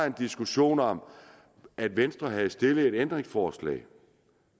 en diskussion om at venstre havde stillet et ændringsforslag